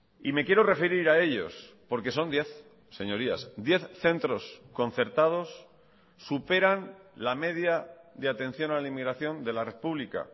y me quiero referir a ellos porque son diez señorías diez centros concertados superan la media de atención a la inmigración de la red pública